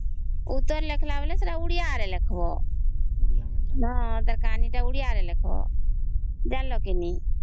ଉତ୍ତର ଲେଖିଲା ବେଳେ ଓଡ଼ିଆ ରେ ଲେଖିବ ତାର କାହାଣୀ ତ ଓଡ଼ିଆ ରେ ଲେଖିବ ଜାଣିଲା କି ନାଇଁ